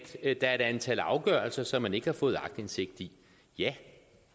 et antal afgørelser som man ikke har fået aktindsigt i ja